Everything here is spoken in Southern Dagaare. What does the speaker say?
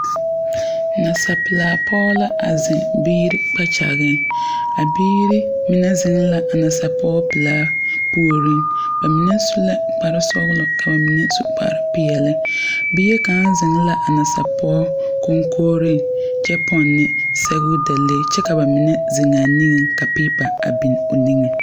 Nasapelaa pɔge la a zeŋ biiri kpɛkyɛgeŋ a biiri mine zeŋ la a nasapɔgepelaa puoriŋ ba mine su la kpare sɔglɔ ka ba mine su kpare peɛle bie kaŋa zeŋ la a nasapɔge koŋkogriŋ kyɛ pɔnne sɛgedalee kyɛ ka ba mine zeŋ a niŋe ka peepa biŋ o niŋe.